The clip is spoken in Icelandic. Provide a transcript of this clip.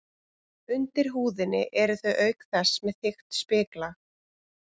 Undir húðinni eru þau auk þess með þykkt spiklag.